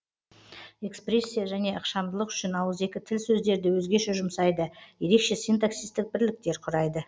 экспрессия және ықшамдылық үшін ауызекі тіл сөздерді өзгеше жұмсайды ерекше синтаксистік бірліктер құрайды